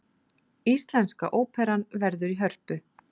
Íslenska óperan verður í Hörpu